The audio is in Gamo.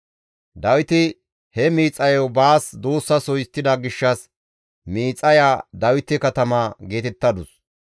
Dawiti he miixayo baas duussaso histtida gishshas miixaya Dawite katama geetettadus.